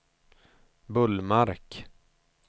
Bullmark